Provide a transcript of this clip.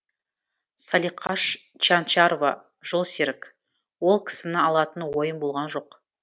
салиқаш чянчарова жолсерік ол кісіні алатын ойым болған жоқ